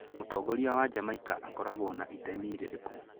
Mũtongoria wa Jamaica akoragwo na itemi rĩrĩkũ?